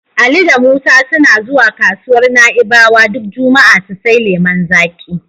Ali da Musa suna zuwa kasuwar Na'ibawa duk juma'a su sai lemon zaƙi.